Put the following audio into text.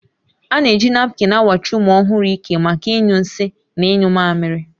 A na-eji napkịn awachi ụmụ ọhụrụ ike maka ịnyụ nsị na ịnyụ mmamịrị